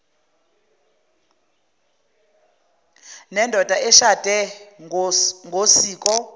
nendoda eshade ngosiko